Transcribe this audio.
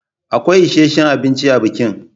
Akwai isheshin abinci a bikin.